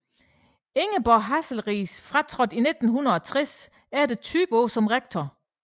Ingeborg Hasselriis fratrådte i 1960 efter 20 år som rektor